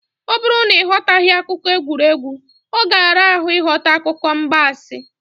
Ọ bụrụ na ị ghọtaghị akụkọ egwuregwu, ọ ga-ara ahụ ịghọta akụkọ ịgbansị.